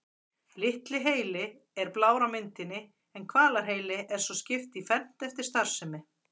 Litli heili er blár á myndinni en hvelaheilanum er svo skipt í fernt eftir starfsemi.